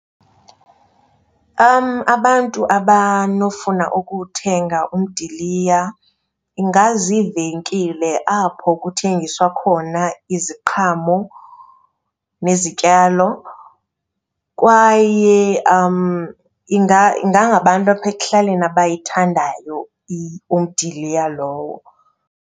Abantu abanofuna ukuthenga umdiliya ingaziivenkile apho kuthengiswa khona iziqhamo nezityalo kwaye ingangabantu apha ekuhlaleni abayithandayo umdiliya lowo.